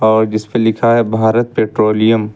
और जिसपे लिखा है भारत पैट्रोलियम ।